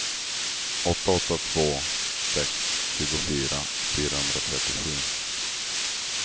åtta åtta två sex tjugofyra fyrahundratrettiosju